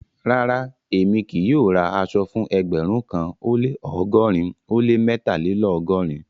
Rárá, èmi kì yóò rá àṣọ̀ fún ẹgbérùn kan ó lẹ́ ọgọ́rìn ó lẹ́ mẹ́tàlélọ́gọ́rìn.